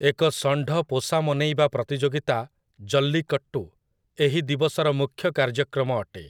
ଏକ ଷଣ୍ଢ-ପୋଷାମନେଇବା ପ୍ରତିଯୋଗିତା, ଜଲ୍ଲିକଟ୍ଟୁ, ଏହି ଦିବସର ମୁଖ୍ୟ କାର୍ଯ୍ୟକ୍ରମ ଅଟେ ।